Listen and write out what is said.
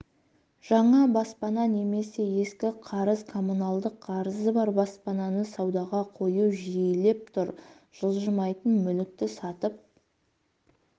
жаңа баспана немесе ескі қарыз коммуналдық қарызы бар баспананы саудаға қою жиілеп тұр жылжымайтын мүлікті сатып